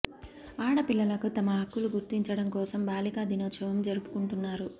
ఆడ పిల్లలకు తమ హక్కుల గుర్తించడం కోసం బాలికా దినోత్సవం జరుపుకొంటున్నారు